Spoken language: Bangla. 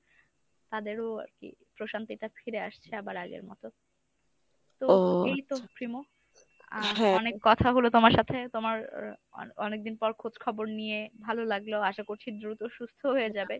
তাদেরও আরকি প্রশান্তিটা ফিরে আসছে আবার আগের মত। তো এইতো প্রিমো। আহ অনেক কথা হল তোমার সাথে। তোমার অ~ অনেকদিন পর খোঁজখবর নিয়ে ভালো লাগল আশা করছি দ্রুত সুস্থ হয়ে যাবে।